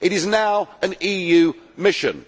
It is now an EU mission.